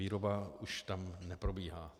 Výroba už tam neprobíhá.